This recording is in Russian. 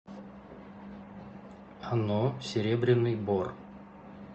ано серебряный бор